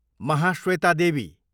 Mahasweta Devi